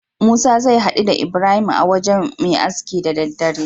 Musa zai haɗu da ibrahim a wajan Me aski da daddare